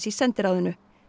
sendiráðinu